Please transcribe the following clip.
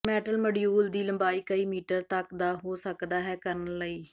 metal module ਦੀ ਲੰਬਾਈ ਕਈ ਮੀਟਰ ਤੱਕ ਦਾ ਹੋ ਸਕਦਾ ਹੈ ਕਰਨ ਲਈ